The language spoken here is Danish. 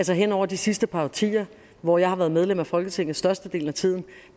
hen over de sidste par årtier hvor jeg har været medlem af folketinget størstedelen af tiden